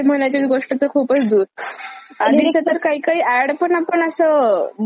आधीचे तर काही काही ऍड पण आपण असं म्हणजे म्हणायचो पाठ व्हायच्या ऍड पण..